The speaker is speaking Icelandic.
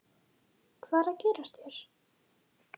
Hvað er að gerast hér?